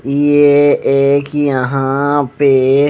ये एक यहां पे--